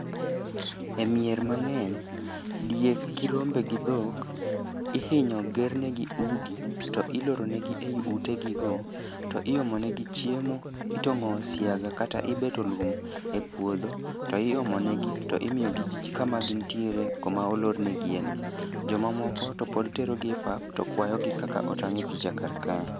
E mier mang'eny, diek gi rombe gi dhok, ihinyo ger negi udi. To iloro ne gi ei ute gi go, to iomo ne gi chiemo. Itong'o siaga kata ibeto lum e puodho, to imo negi to imiyo gi kama gintiere koma olornegie no. Joma moko to pod tero gi e pap to kwayo gi kaka otang' e picha kar kae.